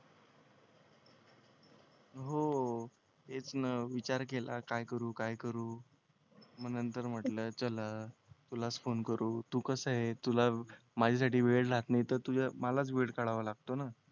हो तेच ना विचार केला काय करू काय करू मग नंतर म्हंटल चला तुलाच फोन करू तू कसंय तुला माझ्यासाठी वेळ राहत नाही तर तुझ्या मलाच वेळ काढावा लागतो ना